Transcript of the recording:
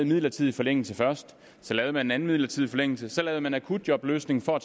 midlertidig forlængelse først så lavede man en anden midlertidig forlængelse så lavede man akutjobløsningen for at